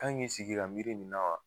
Kan k'i sigi ka miiri nin na wa.